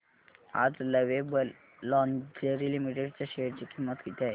आज lovable lingerie limited च्या share ची किंमत किती आहे